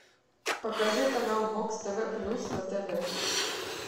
покажи канал бокс тв плюс на тв